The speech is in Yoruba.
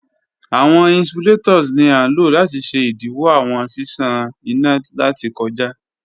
Awọn insulators ni a lo lati ṣe idiwọ awọn ṣiṣan ina lati kọja.